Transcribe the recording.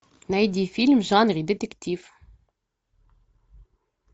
найди фильм в жанре детектив